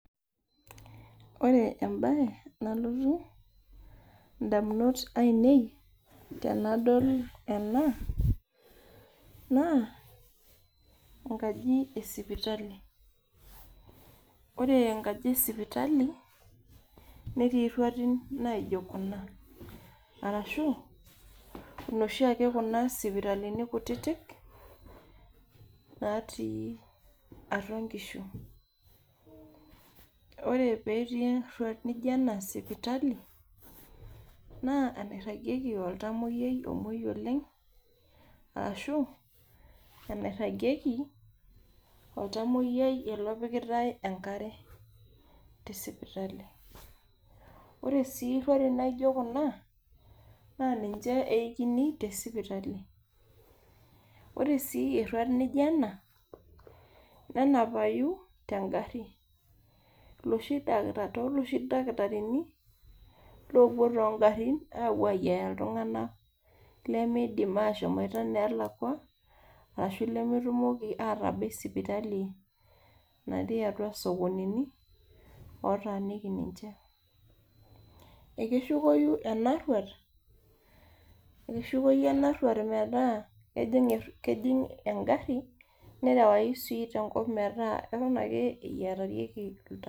Ore embaye nalotu indamunot ainei tenadol ena naa enkaji esipitali ore enkaji esipitali netii irruatin naijo kuna arashu inoshi ake kuna sipitalini kutitik natii atua inkishu ore petii erruat nijo ena sipitali naa enairragieki oltamoyiai omuoi oleng ashu enairragieki oltamoyiai ele opikitae enkare tesipitali ore sii irruati naijo kuna naa ninche eikini te sipitali ore sii erruat nijo ena nenapayu tengarri iloshi daki toloshi dakitarini lopuo tongarrin apuo ayiaya iltung'anak lemidim ashomoita inelakua aashu ilemetumoki atabai sipitali natii atua isokonini otaaniki ninche ekeshukoyu ena rruat ekeshukou ena rruat metaa kejing erru engarri nerewai sii tenkop metaa eton ake eyiatarieki.